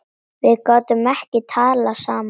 Við gátum ekki talað saman.